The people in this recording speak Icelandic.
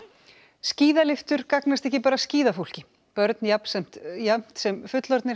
skíðalyftur gagnast ekki bara skíðafólki börn jafnt sem jafnt sem fullorðnir